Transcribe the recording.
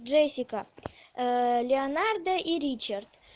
джессика ээ леонардо и ричард